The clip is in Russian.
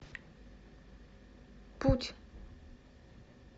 путь